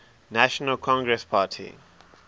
national congress party